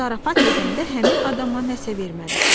Zarafat edəndə həmin adama nəsə verməlisən?